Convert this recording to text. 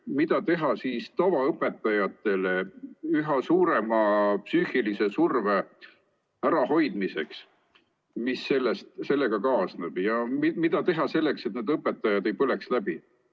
Mida teha tavaõpetajate üha suurema psüühilise surve ärahoidmiseks, mis sellega kaasneb, ja mida teha selleks, et õpetajad ei põleks läbi?